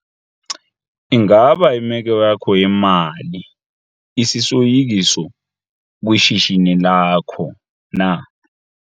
Ingaba imeko yakho yemali isisoyikiso kwishishini lakho na?